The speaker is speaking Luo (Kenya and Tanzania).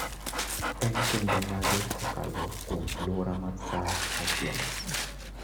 En kinde mage kokalo kuom alwora mar sa machielo